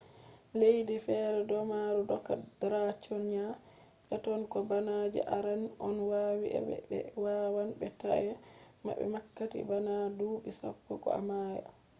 leddiji fere domari doka draconian eitoh ko bana je arande on owadi aibe; be wawan be taena mah wakkati bana dubi sappo ko a maya